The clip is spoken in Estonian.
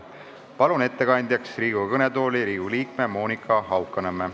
Palun ettekandeks Riigikogu kõnetooli Riigikogu liikme Monika Haukanõmme.